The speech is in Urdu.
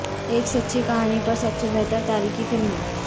ایک سچی کہانی پر سب سے بہتر تاریخی فلمیں